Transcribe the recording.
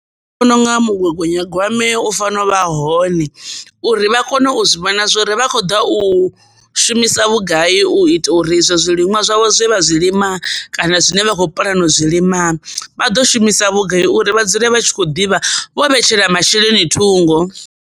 Ndi vhona unga mugaganyagwame u fanela u vha hone uri vha kone u zwi vhona zwori vha kho ḓa u shumisa vhugai u ita uri izwo zwiliṅwa zwavho zwi vha zwi lima kana zwine vha khou puḽana u zwilima vha ḓo shumisa vhugai uri vha dzule vha tshi kho ḓivha vho vhetshela masheleni thungo.